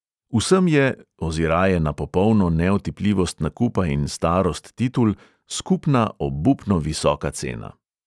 Vsem je, oziraje na popolno neotipljivost nakupa in starost titul, skupna obupno visoka cena.